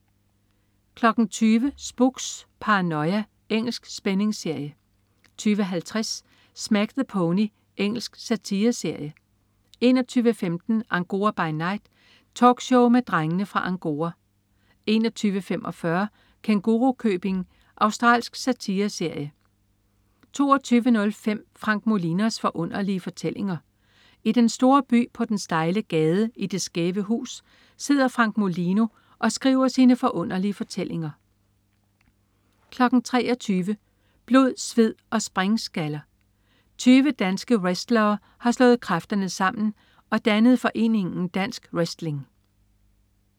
20.00 Spooks: Paranoia. Engelsk spændingsserie 20.50 Smack the Pony. Engelsk satireserie 21.15 Angora by Night. Talkshow med Drengene fra Angora 21.45 Kængurukøbing. Australsk satireserie 22.05 Frank Molinos Forunderlige Fortællinger. I den store by, på den stejle gade, i det skæve hus, sidder Frank Molino og skriver sine forunderlige fortællinger 23.00 Blod, sved og springskaller. 20 danske wrestlere har slået kræfterne sammen og dannet foreningen Dansk Wrestling